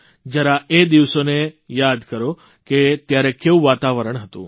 જરા એ દિવસોને યાદ કરો કે ત્યારે કેવું વાતાવરણ હતું